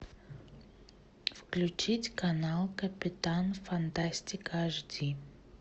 включить канал капитан фантастика аш ди